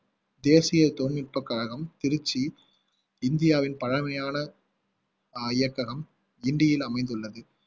தேசிய தொழில்நுட்பக் கழகம் திருச்சி இந்தியாவின் பழமையான அஹ் இயக்ககம் கிண்டியில் அமைந்துள்ளது